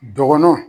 Dɔgɔnɔw